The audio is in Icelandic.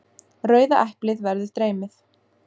Rauða eplið verður dreymið.